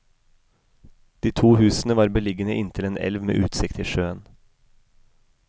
De to husene var beliggende inntil en elv med utsikt til sjøen.